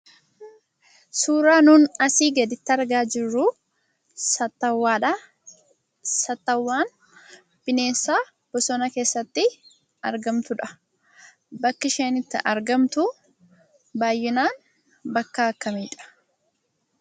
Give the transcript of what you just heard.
Suuraa nuun asii gaditti argaa jirruu saattawwaadhaa. Saatawwaan bineensa bosona keessatti argamtudha. Bakki isheen itti argamtuu baayyinaan bakka akkamiidha?